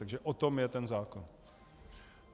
Takže o tom je ten zákon.